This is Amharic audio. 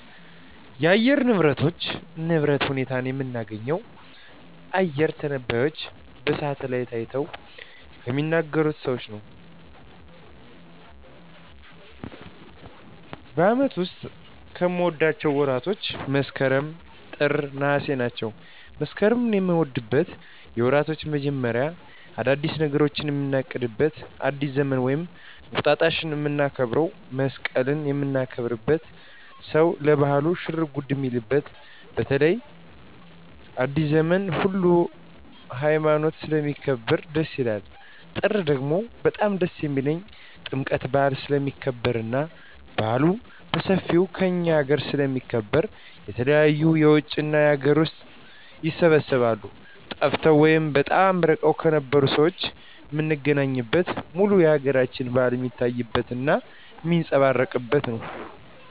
የአየር ንብረቶች ንብረት ሁኔታ የምናገኘው አየረ ተነባዩች በሳሀትአላይት አይተው ከሚናገሩት ሰዎች ነው በአመቱ ዉስጥ ከምወዳቸው ወራቶች መስከረም ጥር ነሃሴ ናቸው መስከረምን ምወደው የወራቶች መጀመሪያ አዳዲስ ነገሮችን ምናቅድበት አዲስ ዘመንን ወይም እንቁጣጣሽ ምናከብረው መሰቀልን ምናከብርበት ሰው ለባህሉ ሽርጉድ ሚልበት በተለይ አዲሰ ዘመንን ሁሉ ሀይማኖት ስለሚያከብር ደስ ይላል ጥር ደግሞ በጣም ደስ የሚልኝ ጥምቀት በአል ስለሚከበር እና በአሉ በሠፌው ከእኛ አገረ ስለሚከበር የተለያዩ የውጭ እና የአገር ውስጥ ይሰባሰባሉ ጠፍተው ወይም በጣም እርቀዉን የነበሩ ሠዎች ምናገኝበት ሙሉ የአገራችን በአል ሜታይበት እና ሜጸባረቅበት ነው